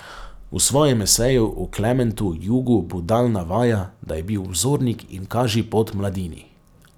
V svojem eseju o Klementu Jugu Budal navaja, da je bil vzornik in kažipot mladini.